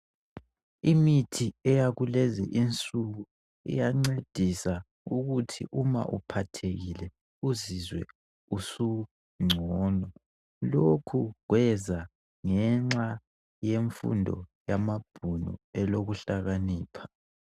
Imithi eyakulezi insuku iyancedisa ukuthi uma uphathekile uzizwe usungcono lokhu kweza ngenxa yemfundo yamabhunu elokuhlakanipha.